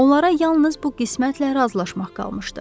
Onlara yalnız bu qismətlə razılaşmaq qalmışdı.